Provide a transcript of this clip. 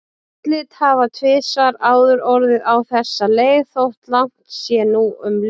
Úrslit hafa tvisvar áður orðið á þessa leið þótt langt sé nú um liðið.